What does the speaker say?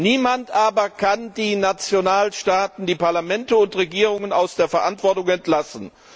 Niemand aber kann die Nationalstaaten, die Parlamente und Regierungen aus der Verantwortung entlassen!